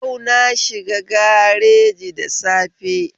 Yau na shiga gareji da safe